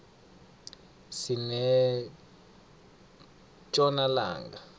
sinetjona langa